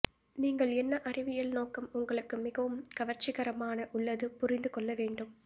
நீங்கள் என்ன அறிவியல் நோக்கம் உங்களுக்கு மிகவும் கவர்ச்சிகரமான உள்ளது புரிந்து கொள்ள வேண்டும்